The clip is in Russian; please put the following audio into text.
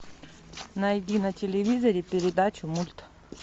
найди на телевизоре передачу мульт